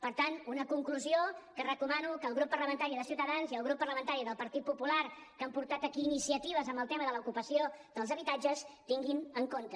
per tant una conclusió que recomano que el grup parlamentari de ciutadans i el subgrup parlamentari del partit popular que han portat aquí iniciatives en el tema de l’ocupació dels habitatges tinguin en compte